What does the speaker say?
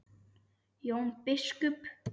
Jón biskup!